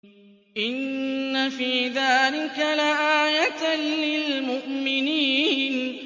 إِنَّ فِي ذَٰلِكَ لَآيَةً لِّلْمُؤْمِنِينَ